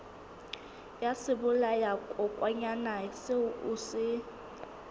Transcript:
ya sebolayakokwanyana seo o se